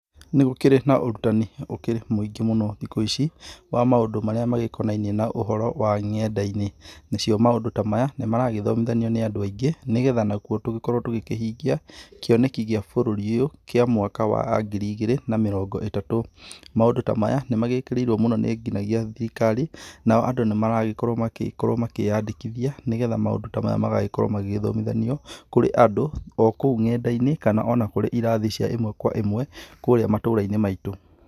Ní gũkĩrĩ na ũrutani ũkĩrĩ mũingĩ mũno thikũ ici wa maũndũ marĩa magĩkonainie na ũhoro wa ng'enda-inĩ, nacio maũndũ ta maya nĩ maragĩthomithanio nĩ andũ aingĩ nĩgetha nakuo tũgĩkorwo tũgĩkĩhingia kĩoneki gĩa bũrũri ũyũ kĩa mwaka wa ngiri igĩrĩ na mĩrongo ĩtatũ. Maũndũ ta maya nĩ magĩkĩrĩirwo mũno nĩ nginyagia thirikari, nao andũ nĩmaragĩkorwo magĩkorwo makĩyandĩkithia nĩgetha maũndũ ta maya magagĩkorwo magĩthomithanio kũrĩ andũ o kou ng'enda-inĩ kana ona kũrĩ irathi cia ĩmwe kwa ĩmwe kũrĩa matũra-inĩ maitũ.